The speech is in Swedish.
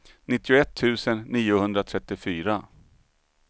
nittioett tusen niohundratrettiofyra